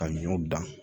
Ka ɲɔw dan